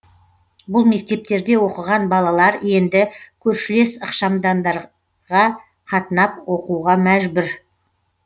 бұл мектептерде оқыған балалар енді көршілес ықшамаудандарға қатынап оқуға мәжбүр